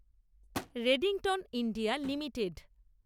Redington India limited